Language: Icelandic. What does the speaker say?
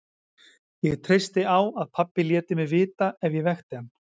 Ég treysti á að pabbi léti mig vita ef ég vekti hann.